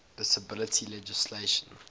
disability legislation